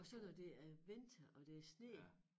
Og så når det er vinter og det er sne